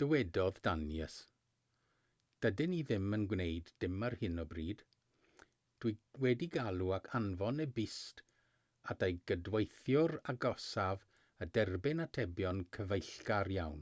dywedodd danius dydyn ni ddim yn gwneud dim ar hyn o bryd dw i wedi galw ac anfon e-byst at ei gydweithiwr agosaf a derbyn atebion cyfeillgar iawn